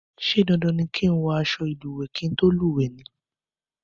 Ṣé dandan ni kí ń wọ àsọ ìlúwẹ kí tó lúwẹ ni?